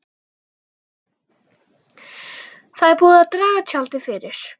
Það er búið að draga tjaldið fyrir.